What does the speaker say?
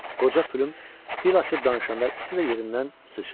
Qoca Plüm dil açıb danışanda ikisi də yerindən sıçradı.